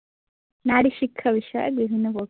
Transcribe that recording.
নারী শিক্ষা বিষয়ে বিভিন্ন প্রকল্পে